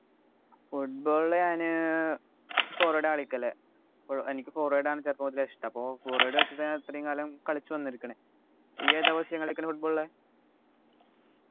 football ൽ ഞാന് ഏർ forward ആ കളിക്കല് എനിക്ക് forward ആണ് ചെറുപ്പം മുതലേ ഇഷ്ടം അപ്പൊ forward ആണ് ഇത്രേം കാലം കളിച്ചു വന്നിരിക്കണെ ഈഏതാ positon കളിക്കണേ football ലു